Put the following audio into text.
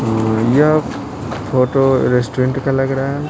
यह photo restaurant के तरह लग रहा है।